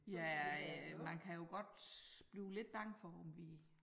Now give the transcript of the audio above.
Ja øh man kan jo godt blive lidt bange for om vi